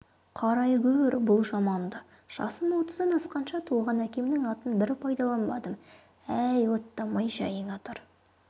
қарайгөр бұл жаманды жасым отыздан асқанша туған әкемнің атын бір пайдаланбадым әй оттамай жайыңа тұр